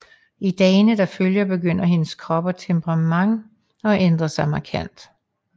I dagene der følger begynder hendes krop og temperament at ændre sig markant